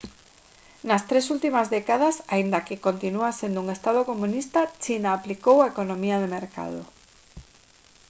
nas tres últimas décadas aínda que continúa sendo un estado comunista china aplicou a economía de mercado